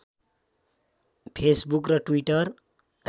Facebook र Twitter